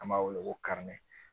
An b'a wele ko